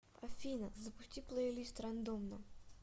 афина запусти плейлист рандомно